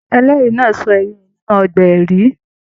Ẹlẹri náà sọ ẹrí rẹ nínú ọgbà ẹrí.